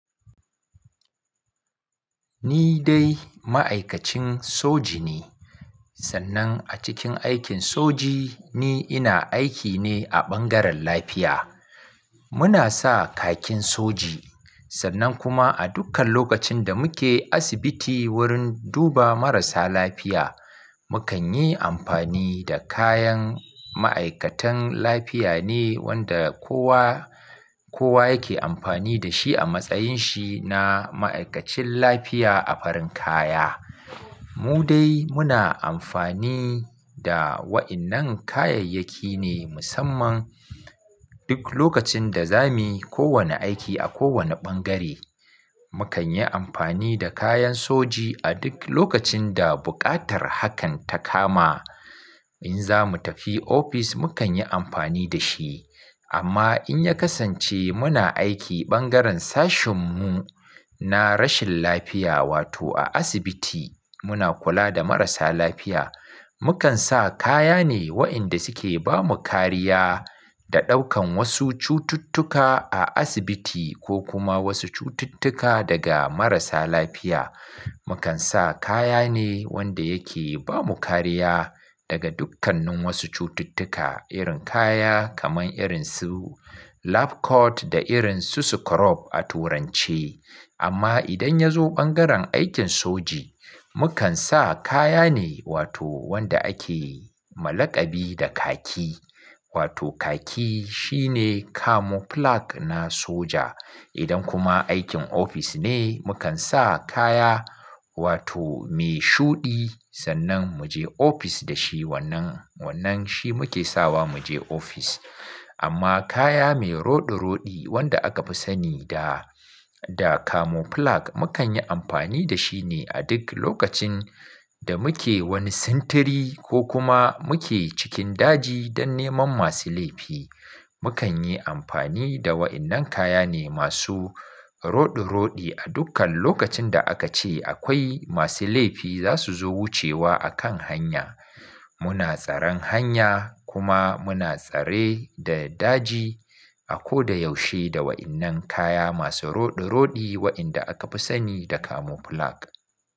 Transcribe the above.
Ni dai ma'aikacin soji ne, sannan a cikin aikin soji ni ina aiki ne a ɓangaren lafiya. Muna sa kakin soji, sannan kuma a dukkan lokacin da muke asibiti wurin duba marasa lafiya, mukan yi amfani da kayan ma'aikatan lafiya ne wanda kowa, kowa yake amfani da shi a matsayin shi na ma'aikacin lafiya a farin kaya. Mu dai muna amfani da waɗannan kayayyaki ne musamman duk lokacin da zamu yi kowane aiki a kowane ɓangare. Mukan yi amfani da kayan soji a duk lokacin da buƙatar hakan ta kama. In zamu tafi ofis mukan yi amfani da shi. Amma in ya kasance muna aiki ɓangaren sashin mu na rashin lafiya, wato a asibiti muna kula da marasa lafiya, mukan sa kaya ne waɗanda suke ba mu kariya da ɗaukan wasu cututtuka a asibiti ko kuma wasu cututtuka daga marasa lafiya. Mukan sa kaya ne wanda yake ba mu kariya daga dukkannin wasu cututtuka, irin kaya kaman irin su "lab coat" da irin su "scrub" a turance. Amma idan ya zo ɓangaren aikin soji, mukan sa kaya ne wato wanda ake ma laƙabi da khaki. Wato khaki shine "camouflage" na soja. Idan kuma aikin ofis ne, mukan sa kaya wato mai shuɗi sannan mu je ofis da shi, wannan, wannan shi muke sawa mu je ofis. Amma kaya mai roɗe-roɗe wanda aka fi sani da, da "camouflage", mukan yi amfani da shi ne a duk lokacin da muke wani sintiri ko kuma muke cikin daji don neman masu laifi. Mukan yi amfani da waɗannan kaya ne masu roɗe-roɗe a dukkan lokacin da aka ce akwai masu laifi za su zo wucewa a kan hanya. Muna tsaran hanya kuma muna tsare da daji a ko da yaushe da waɗannan kaya masu roɗe-roɗe waɗanda aka fi sani da "camouflage".